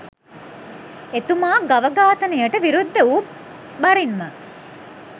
එතුමා ගව ඝාතනයට විරුද්ධ වු බරින්ම